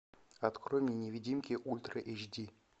открой мне невидимки ультра эйч ди